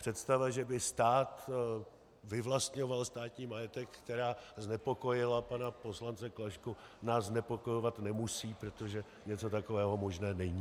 Představa, že by stát vyvlastňoval státní majetek, která znepokojila pana poslance Klašku, nás znepokojovat nemusí, protože něco takového možné není.